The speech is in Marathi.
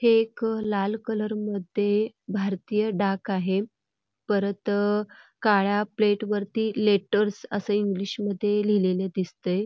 हे एक लाल कलरमध्ये भारतीय डाक आहे परत काळ्या प्लेट वरती लेटर्स असं लिहिलेले दिसतंय.